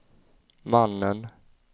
mannen